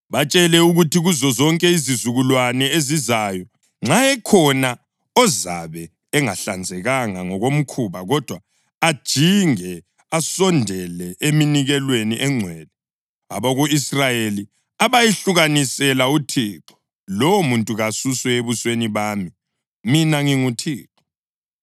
Batshele ukuthi, ‘Kuzozonke izizukulwane ezizayo, nxa ekhona ozabe engahlanzekanga ngokomkhuba kodwa ajinge asondele eminikelweni engcwele, abako-Israyeli abayihlukanisela uThixo, lowomuntu kasuswe ebusweni bami. Mina nginguThixo.